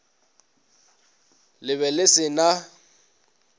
le be le se na